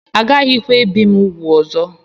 Agaghịkwa ebi m úgwù ọzọ